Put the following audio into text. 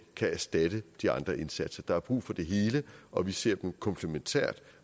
kan erstatte de andre indsatser der er brug for det hele og vi ser det komplementært